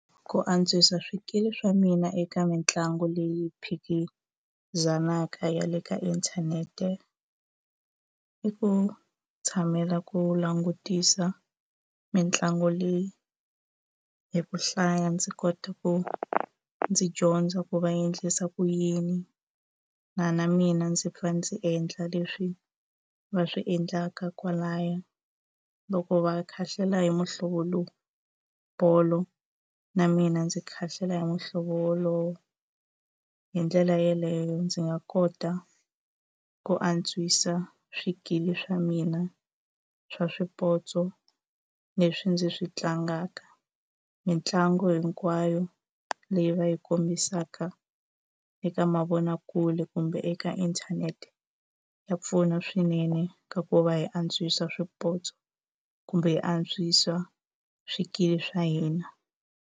Ku antswisa swikili swa mina eka mitlangu leyi phikizanaka ya le ka inthanete i ku tshamela ku langutisa mitlangu leyi hi ku hlaya ndzi kota ku ndzi dyondza ku va endlisa ku yini na na mina ndzi fane ndzi endla leswi va swi endlaka kwalaya loko va khahlela hi muhlovo lowu bolo na mina ndzi khahlela hi muhlovo wolowo hi ndlela yeleyo ndzi nga kota ku antswisa swikili swa mina swa swipotso leswi ndzi swi tlangaka mitlangu hinkwayo leyi va yi kombisaka eka mavonakule kumbe eka inthanete ya pfuna swinene ka ku va hi antswisa swipotso kumbe hi antswisa swikili swa hina.